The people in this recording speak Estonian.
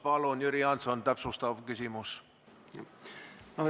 Palun, Jüri Jaanson, täpsustav küsimus!